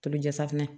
Tobi jafunɛ